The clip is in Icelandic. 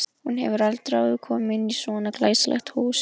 Hún hefur aldrei áður komið inn í svona glæsilegt hús.